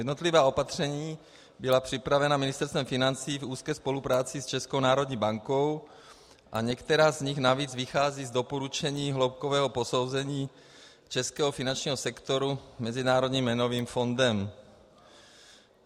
Jednotlivá opatření byla připravena Ministerstvem financí v úzké spolupráci s Českou národní bankou a některá z nich navíc vycházejí z doporučení hloubkového posouzení českého finančního sektoru Mezinárodním měnovým fondem.